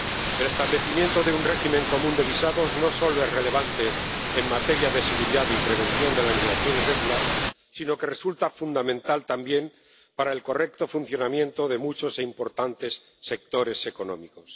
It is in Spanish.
El establecimiento de un régimen común de visados no solo es relevante en materia de seguridad y prevención de la inmigración irregular sino que resulta fundamental también para el correcto funcionamiento de muchos e importantes sectores económicos.